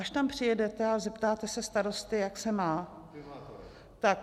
Až tam přijedete a zeptáte se starosty, jak se má.